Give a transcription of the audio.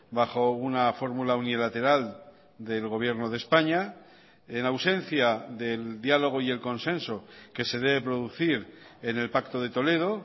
bajo una fórmula unilateral del gobierno de españa en ausencia del diálogo y el consenso que se debe producir en el pacto de toledo